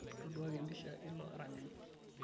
ntoduaaki e mpisha eilo aranyani